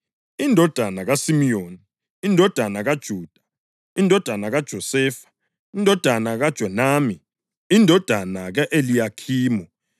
indodana kaSimiyoni, indodana kaJuda, indodana kaJosefa, indodana kaJonami, indodana ka-Eliyakhimu,